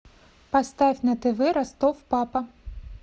поставь на тв ростов папа